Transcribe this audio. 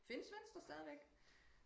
findes venstre stadigvæk